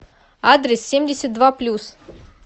адрес семьдесят два плюс